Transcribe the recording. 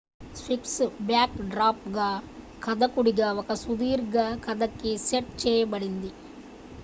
sphinx backdrop గా కథకుడుగా ఒక సుదీర్ఘ కథకి సెట్ చేయబడ్డది